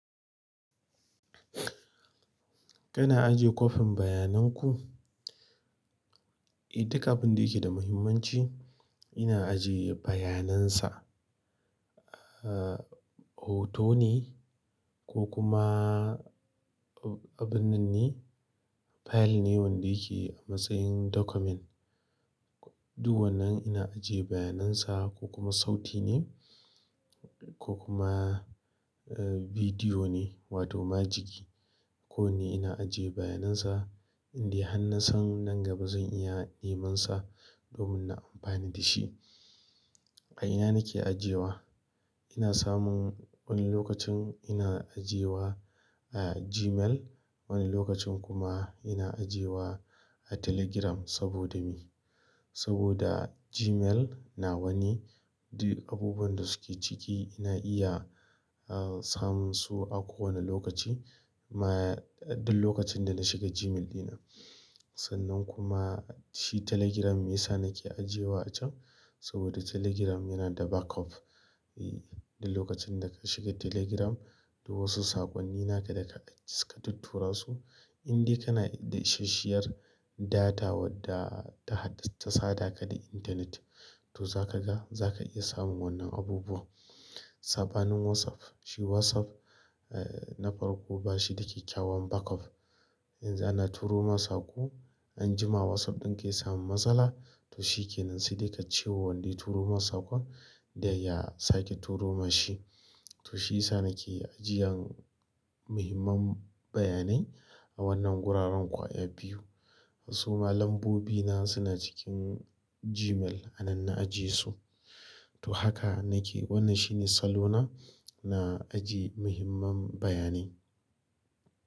Kana aje kopin bayanan ku? Eh, duk abin da yake da muhimmanci ina ajiye bayanan sa. Ahh hoto ne ko kuma abinnan file wanda yake a matsayin dakumen. Duk wannan ina ajiye bayanan sa ko kuma sauti ne ko kuma video ne wato majigi. Kowanne ina ajiye bayanan sa in dai hanna san nan gaba zan iya neman sa domin na amfani da shi. A ina nake ajiyewa? Ina samun wani lokacin ina ajiye wa, ah, Gmail, wani lokacin kuma ina ajiye wa a Telegram saboda me? Saboda Gmail na wane duk abubuwan da suke ciki ina iya, ah, samun su a kowane lokaci ma duk lokacin da na shiga Gmail ɗina. Sannan kuma shi Telegram me yasa nake ajiye wa a can? Saboda Telegram yana da backup. Eh, duk lokacin da ka shiga Telegram duk wasu saƙonni na ka da ka, ka tuttura su in dai kana da ishashiyar data wadda ta haɗa, ta sada ka da intanet to za ka ga za ka iya samun wannan abubuwa. Saɓanin WhatsApp, shi WhatsApp, eh, na farko ba shi da ƙyakyawan backup. Yanxu ana turo ma saƙo an jima WhatsApp ɗin ka yasamu matsala to shi ke nan sai dai ka ce wa wanda ya turo ma saƙon da ya sake turo ma shi. To shi yasa nake ajiyan muhimman bayanai a wannan guraren ƙwaya biyu. Wasu ma lambobi na suna cikin Gmail a nan na ajiye su. To haka nake, wannan shine salona na ajiye muhimman bayanai.